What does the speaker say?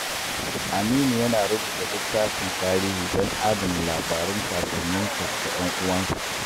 Aminu yana rubuta littafin tarihi don adana labarun kakanninsa da 'yan uwansu.